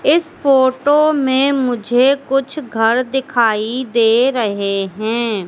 इस फोटो में मुझे कुछ घर दिखाई दे रहे हैं।